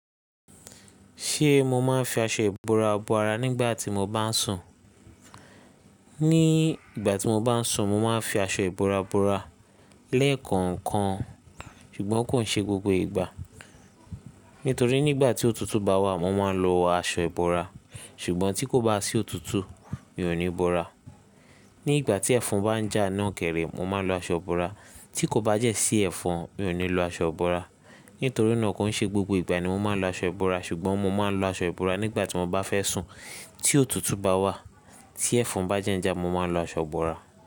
Ṣe mo máa ń fi aṣọ ìbora bora nígbà tí mo bá ń sùn? Ni ìgbà tí mo bá ń sùn, mo máa ń fi aṣọ ìbora bora lẹ́ẹ̀kan kan, ṣùgbọ́n kò ń ṣe gbogbo ìgbà. Nítorí nígbà tí òtútù bá wà, mo máa ń lo aṣọ ìbora, ṣùgbọ́n tí kò bá sí òtútù, mi ò ní bora. Ní ìgbà tí ẹ̀fọn bá ń jà náà kèrè, mo máa ń lo aṣọ ìbora, tí kò bá dẹ́ sí ẹ̀fọn, mi ò ní lo aṣọ ìbora. Nítorí náà kò ń ṣe gbogbo ìgbà ni mo máa ń lo aṣọ ìbora, ṣùgbọ́n mo máa ń lo aṣọ ìbora nígbà tí mo bá fẹ́ sùn. Tí òtútù bá wà, tí ẹ̀fọn bá jẹ́ ń jà, mo máa ń lo aṣọ ìbora.